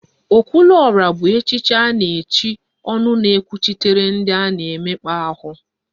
Okwuruọra bụ echiche a na-echi ọnụ na-ekwuchitere ndị a na-emekpa ahụ